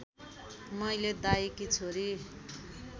मैले दाइकी छोरी